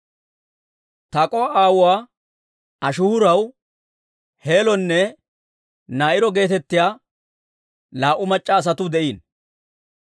Tak'o"a aawuwaa Ashihuuraw Heelonne Naa'iro geetettiyaa laa"u mac'c'a asatuu de'iino.